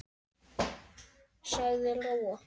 sagði Lóa.